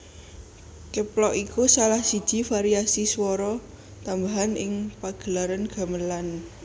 Keplok iku salah siji variasi swara tambahan ing pagelaran gamelan